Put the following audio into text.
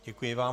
Děkuji vám.